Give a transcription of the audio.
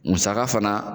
Musaka fana